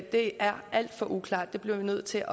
det er alt for uklart det bliver vi nødt til